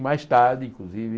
E mais tarde, inclusive...